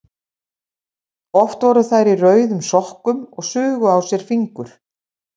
Oft voru þær í rauðum sokkum og sugu á sér fingur.